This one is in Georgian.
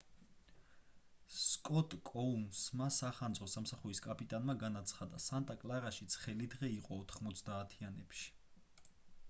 სკოტ კოუნსმა სახანძრო სამსახურის კაპიტანმა განაცხადა სანტა კლარაში ცხელი დღე იყო 90-ანებში